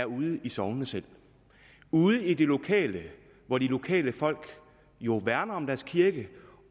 ude i sognene ude i det lokale hvor de lokale folk jo værner om deres kirke